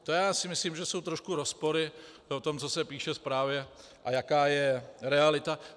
To já si myslím, že jsou trošku rozpory v tom, co se píše ve zprávě, a jaká je realita.